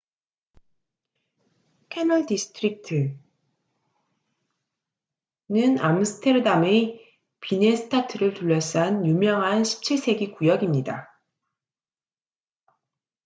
캐널 디스트릭트네덜란드어: grachtengordel는 암스테르담의 비넨스타트를 둘러싼 유명한 17세기 구역입니다